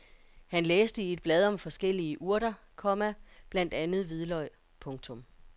Han læste i et blad om forskellige urter, komma blandt andet hvidløg. punktum